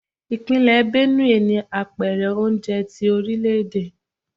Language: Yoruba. Ìpínlẹ̀ Benue ni Apẹ̀rẹ̀ oúnjẹ tí orílè-èdè.